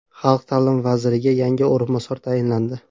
Xalq ta’limi vaziriga yangi o‘rinbosar tayinlandi.